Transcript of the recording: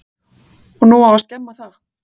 Á nú að skemma það?